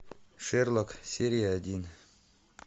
шерлок серия один